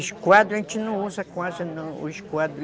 Esquadro a gente não usa quase não, o esquadro.